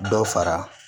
Dɔ fara